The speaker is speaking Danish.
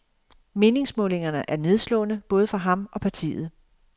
Meningsmålingerne er nedslående, både for ham og partiet.